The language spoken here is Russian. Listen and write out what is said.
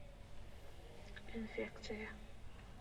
инфекция